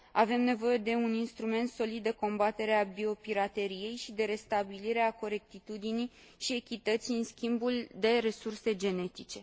Avem nevoie de un instrument solid de combatere a biopirateriei și de restabilire a corectitudinii și echității în schimbul de resurse genetice.